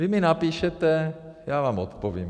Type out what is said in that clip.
Vy mi napíšete, já vám odpovím.